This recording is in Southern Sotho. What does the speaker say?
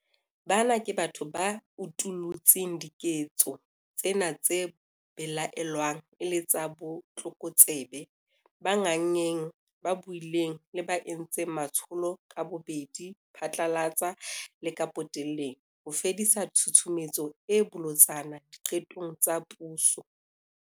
Bana ke batho ba utullutseng diketso tsena tse belaellwang e le tsa botlokotsebe, ba nganngeng, ba buileng le ba entseng matsholo ka bobedi phatlalatsa le ka potelleng - ho fedisa tshusumetso e bolotsana diqetong tsa puso.